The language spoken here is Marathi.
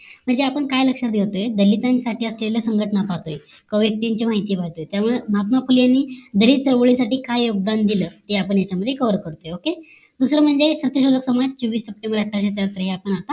म्हणजे आपण काय लक्ष्यात घेतोय दलितांसाठी असलेल्या संघटना पातळी काव्यक्तींची माहिती पाहतोय त्यामुळे महात्मा फुले यांनी दलित चळवळीसाठी काय योगदान दिल ते आपण यांच्यामध्ये COVER करतोय OKAY दुसरं म्हणजे सत्यशोधक समाज चोवीस सप्टेंबर अठ्ठाविषे सत्तर हे आपण आता